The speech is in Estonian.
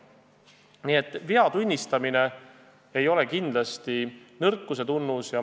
Nii et vea tunnistamine ei ole kindlasti nõrkuse tunnus.